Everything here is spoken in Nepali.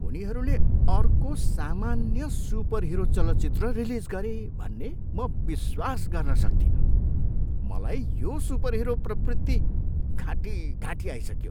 उनीहरूले अर्को सामान्य सुपरहिरो चलचित्र रिलिज गरे भन्ने म विश्वास गर्न सक्तिनँ। मलाई यो सुपरहिरो प्रवृत्ति घाँटीघाँटी आइसक्यो।